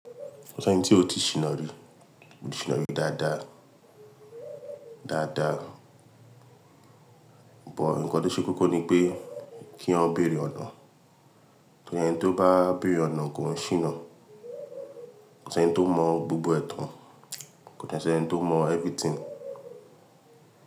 Kò sẹ́nì tí o ti ṣìná rí, mo ti ṣìná rí dáadáa, dáadáa. Bọ̀ ǹkan tó ṣe kókó ni pé kí yan bèrè ọ̀nà. Ẹni tó bá bèrè ọ̀nà kò oun ṣìná. Kò sẹ́nì tó mọ̀ gbogbo ẹ̀tàn, kò sẹ́nì tó mọ̀ everything.